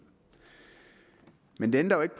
men det ændrer jo ikke